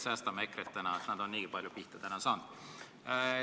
Säästame EKRE-t, nad on täna niigi palju pihta saanud.